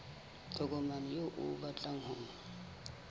tokomane eo o batlang ho